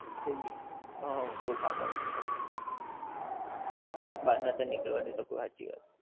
food હા બઉ કામ આવ્યું હતું. બહાર નોતાં નીકળવા દેતાં કોઈ હાંચી વાત.